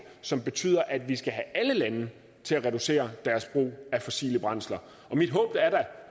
som betyder at vi skal have alle lande til at reducere deres brug af fossile brændsler mit håb er da